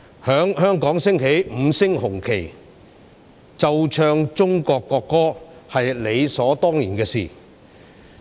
在香港升起五星紅旗，奏唱中國國歌，是理所當然的事。